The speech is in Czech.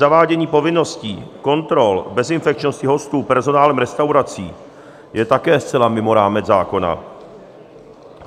Zavádění povinnosti kontrol bezinfekčnosti hostů personálem restaurací je také zcela mimo rámec zákona.